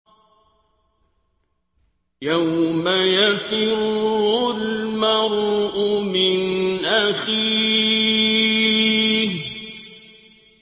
يَوْمَ يَفِرُّ الْمَرْءُ مِنْ أَخِيهِ